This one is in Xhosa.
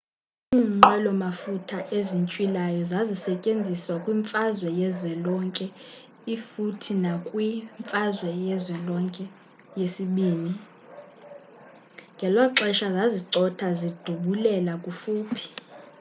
iinqwelo mafutha ezintywilayo zazisetyenziswa kwi-mfazwe yezwelonke i futhi nakwi-mfazwe yezwelonke ii ngeloxesha zazicotha zidubulela kufuphi